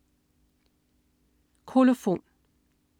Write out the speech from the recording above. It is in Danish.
Kolofon